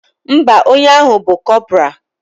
Ḿbà, onye ahu bu corporal.